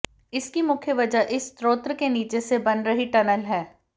इसकी मुख्य वजह इस स्त्रोत के नीचे से बन रही टनल है